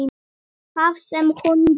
Það sem hún gerði